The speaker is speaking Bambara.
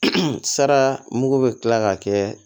Sara mugu bɛ kila ka kɛ